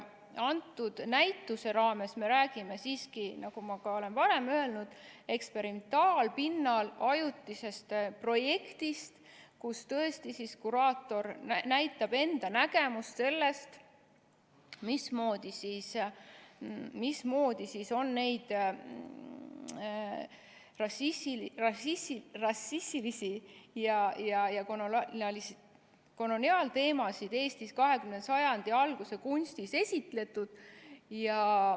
Selle näituse raames me räägime siiski, nagu ma ka olen varem öelnud, eksperimentaalpinnal ajutisest projektist, kus kuraator näitab enda nägemust sellest, mismoodi on neid rassilisi ja koloniaalteemasid Eestis 20. sajandi alguse kunstis esitletud.